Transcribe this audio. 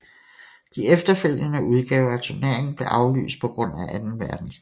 De efterfølgende udgaver af turneringen blev aflyst på grund af anden verdenskrig